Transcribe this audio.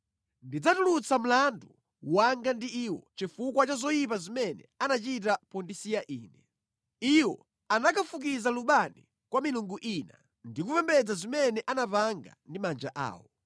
Ndidzatulutsa mlandu wanga ndi iwo chifukwa cha zoyipa zimene anachita pondisiya Ine. Iwo anakafukiza lubani kwa milungu ina, ndi kupembedza zimene anapanga ndi manja awo.